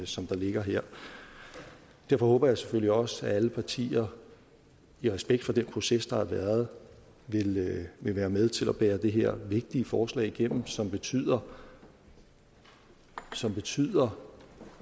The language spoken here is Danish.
som der ligger her derfor håber jeg selvfølgelig også at alle partier i respekt for den proces der har været vil være med til at bære det her vigtige forslag igennem som betyder som betyder